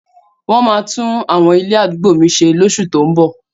Wọ́n máa tún àwọn ilé àdúgbò mi ṣe lóṣù tó ún bọ̀.